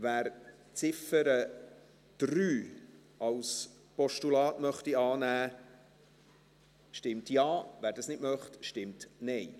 Wer die Ziffer 3 als Postulat annehmen möchte, stimmt Ja, wer das nicht möchte, stimmt Nein.